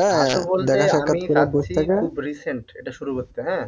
খুব recent এটা শুরু করতে হ্যাঁ